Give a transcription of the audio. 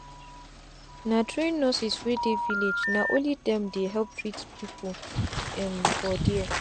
na train nurseswey dey village na only dem dey help treat people um for there.